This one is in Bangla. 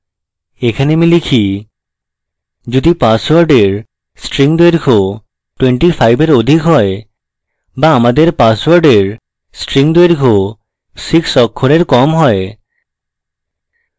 এখানে আমি লিখিযদি পাসওয়ার্ডের string দৈর্ঘ্য 25 এর অধিক হয় বা আমাদের পাসওয়ার্ডের string দৈর্ঘ্য 6 অক্ষরের কম হয়